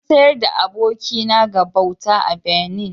An sayar da abokina ga bauta a Benin